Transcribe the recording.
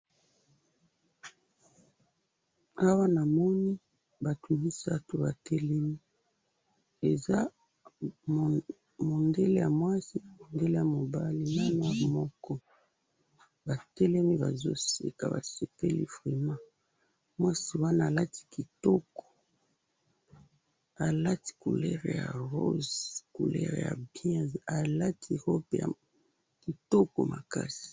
Awa namoni batu misatu batelemi eza mundele ya mwasi mundele ya mobali naya mwindu moko batelemi bazo seka basepeli vraiment mwasi wana alati kitoko, alati couleur ya rose couleur ya bien alati robe ya kitoko makasi.